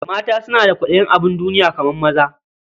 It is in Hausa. Mata suna da kwaɗayin abin duniya kamar maza.